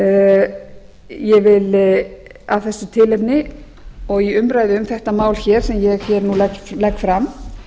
launamun ég vil af þessu tilefni og í umræðu um þetta mál hér sem ég hér nú legg fram